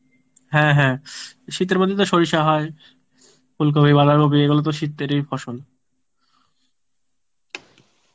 হ্যাঁ হ্যাঁ শীতের মধ্যেই তো সরিষা হয় ফুলকপি বাঁধাকপি এগুলোতো শীতেরই ফসল